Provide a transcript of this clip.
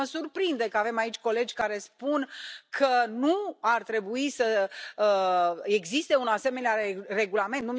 Pe mine mă surprinde că avem aici colegi care spun că nu ar trebui să existe un asemenea regulament.